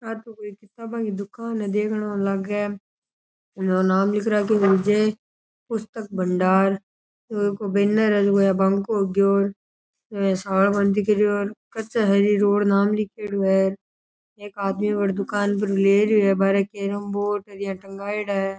आ तो एक दुकान है देखन ऊ लाग नाम लिख राखे विजय पुस्तक भंडार बैनर है कच्चा है जे रोड और नाम लिखडा है एक आदमी वह दुकान पे ले रियो है --